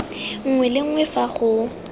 nngwe le nngwe fa go